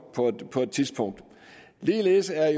på et tidspunkt ligeledes er